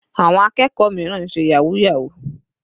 Àwọn akẹ́kọ̀ọ́ mìíràn ń ṣe yahoo yahoo.